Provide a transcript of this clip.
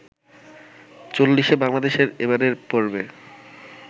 চল্লিশে বাংলাদেশের এবারের পর্বে